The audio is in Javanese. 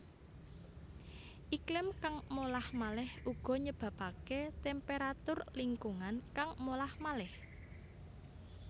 Iklim kang molah maleh uga nyebabaké temperatur lingkungan kang molah malih